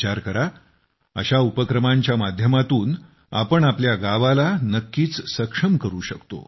विचार करा अशा उपक्रमांच्या माध्यमातून आपण आपल्या गावाला नक्कीच सक्षम करू शकतो